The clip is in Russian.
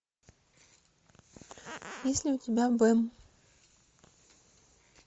есть ли у тебя бэм